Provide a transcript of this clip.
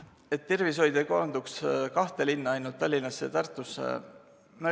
... et tervishoid ei koonduks ainult kahte linna, Tallinnasse ja Tartusse.